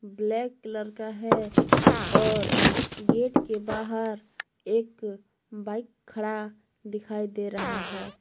Black colour का है और गेट के बाहर एक बाइक खड़ा दिखाई दे रहा है।